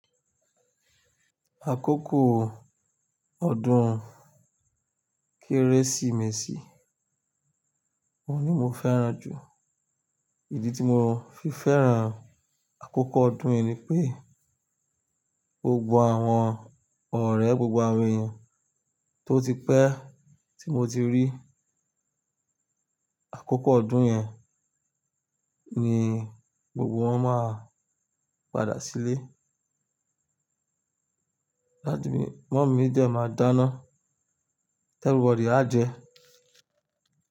Àkókò ọdún kérésìmesì oun ní mo fẹ́ràn jù. Ìdí tí mo fi fẹ́ràn àkókò ọdún yẹn ni pé gbogbo àwọn ọ̀rẹ́ gbogbo àwọn èèyàn tó ti pẹ́ tí mo ti rí àkókò ọdún yẹn ni gbogbo wọn máa padà sílé. Dadi mi mọ̀mí mi dẹ̀ máa dáná tẹ everybody à jẹ.